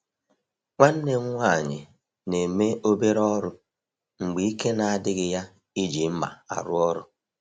Nwanne m nwanyị na-eme obere ọrụ mgbe ike na-adịghị ya iji mma arụ ọrụ.